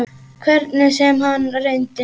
Hvernig sem hann reyndi.